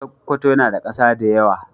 Sokoto yana da kasa da yawa.